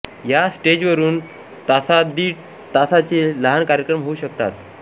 या स्टेजवरून तासादीड तासाचे लहान कार्यक्रम होऊ शकतात